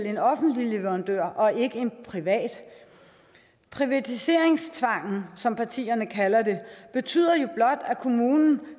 en offentlig leverandør og ikke en privat privatiseringstvangen som partierne kalder det betyder jo blot at kommunen